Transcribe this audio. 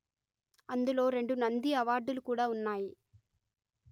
అందులో రెండు నంది అవార్డులు కూడా ఉన్నాయి